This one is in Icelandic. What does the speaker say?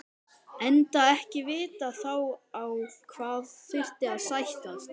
Enda ekki vitað þá á hvað þyrfti að sættast.